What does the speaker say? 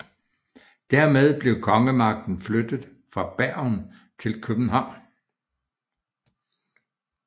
Dermed blev kongemagten flyttet fra Bergen til København